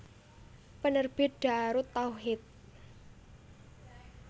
Penerbit Daarut Tauhid